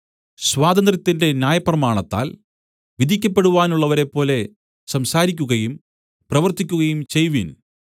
സ്വാതന്ത്ര്യത്തിന്റെ ന്യായപ്രമാണത്താൽ വിധിക്കപ്പെടുവാനുള്ളവരെപ്പോലെ സംസാരിക്കുകയും പ്രവർത്തിക്കുകയും ചെയ്‌വിൻ